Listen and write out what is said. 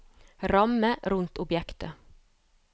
ramme rundt objektet